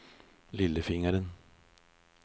lillefingeren